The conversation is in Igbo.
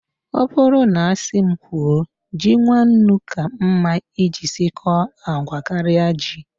Ọ bụrụ na asị m kwuo, ji nwannu ka mma iji sikọọ agwa karịa ji